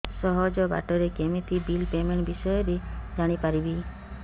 ସହଜ ବାଟ ରେ କେମିତି ବିଲ୍ ପେମେଣ୍ଟ ବିଷୟ ରେ ଜାଣି ପାରିବି